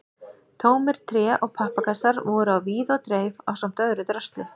Tómir tré- og pappakassar voru á víð og dreif ásamt öðru drasli.